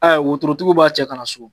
worotigiw b'a cɛ ka na so.